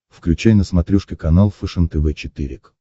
включай на смотрешке канал фэшен тв четыре к